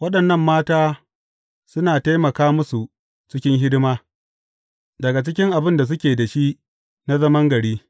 Waɗannan mata suna taimaka musu cikin hidima, daga cikin abin da suke da shi na zaman gari.